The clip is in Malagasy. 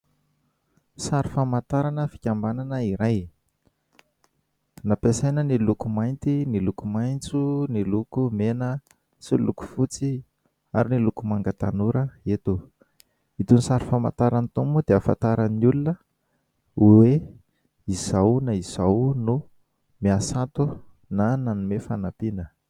Sary famantarana fikambanana iray. Nampiasaina ny loko mainty, ny loko maintso, ny loko mena, sy ny loko fotsy ary ny loko manga tanora eto. Itony sary famantarana itony moa dia hahafantaran'ny olona hoe izao na izao no miasa ato na nanome fanampiana.